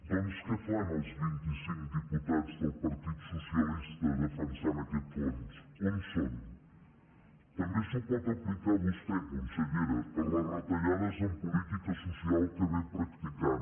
doncs què fan els vint i cinc diputats del partit socialista defensant aquest fons on són també s’ho pot aplicar vostè consellera per les retallades en política social que ve practicant